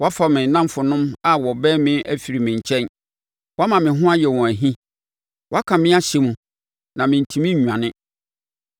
Woafa me nnamfonom a wɔbɛn me afiri me nkyɛn woama me ho ayɛ wɔn ahi. Woaka me ahyɛ mu na mentumi nnwane;